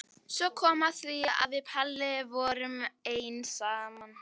Svo kom að því að við Palli vorum ein saman.